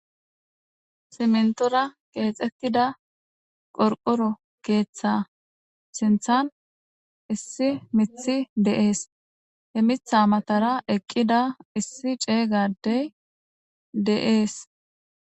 Simintora oothetida qorqoro keetha sinthani issi mithy de'es , he mitha matara eqida issi ceega Adey de'es.